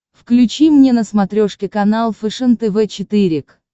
включи мне на смотрешке канал фэшен тв четыре к